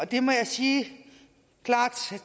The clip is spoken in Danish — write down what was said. det må jeg sige klart til